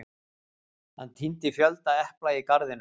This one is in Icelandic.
Hann tíndi fjölda epla í garðinum.